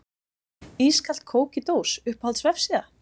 Ískalt kók í dós Uppáhalds vefsíða?